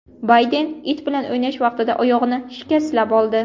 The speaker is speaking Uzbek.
Bayden it bilan o‘ynash vaqtida oyog‘ini shikastlab oldi.